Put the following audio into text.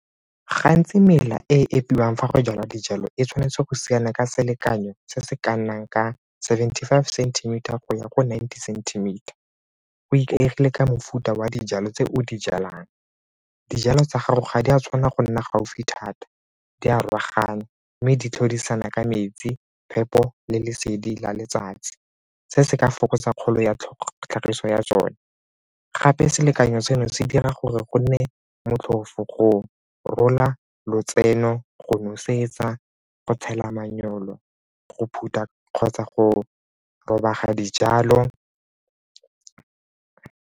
Gantsi mela e epiwang fa go jala dijalo e tshwanetse go siana ka selekanyo se se ka nnang ka seventy-five centimeter go ya go ninety centimeter go ikaegile ka mofuta wa dijalo tse o di jalang. Dijalo tsa gago ga di a tshwanna go nna gaufi thata, di a mme di tlhodisana ka metsi, phepo le lesedi la letsatsi. Se se ka fokotsa kgolo ya tlhagiso ya tsone gape selekanyo seno se dira gore go nne motlhofo go rola lotseno, go nosetsa, go tshela manyoro, go phutha kgotsa go robega dijalo.